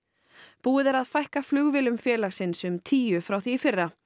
búið er að fækka flugvélum félagsins um tíu frá því í fyrra